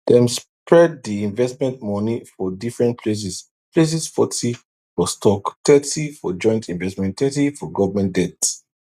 dem spread di investment money for different places places forty for stocks thirty for joint investments thirty for government debt